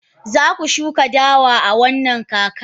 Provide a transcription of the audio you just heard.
Za ku shuka dawa a wannan kakar?